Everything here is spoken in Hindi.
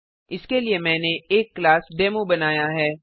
इसके लिए मैंने एक क्लास डेमो बनाया है